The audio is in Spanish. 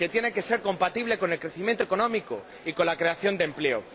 Que tiene que ser compatible con el crecimiento económico y con la creación de empleo.